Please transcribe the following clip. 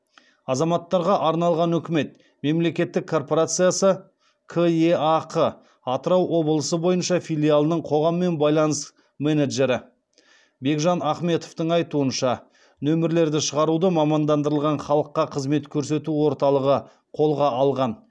азаматтарға арналған үкімет мемлекеттік корпорациясы кеақ атырау облысы бойынша филиалының қоғаммен байланыс менеджері бекжан ахметовтің айтуынша нөмірлерді шығаруды мамандандырылған халыққа қызмет көрсету орталығы қолға алған